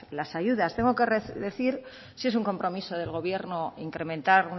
las ayudas tengo que decir si es un compromiso del gobierno incrementar